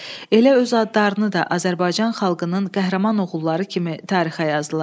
Elə öz adlarını da Azərbaycan xalqının qəhrəman oğulları kimi tarixə yazdılar.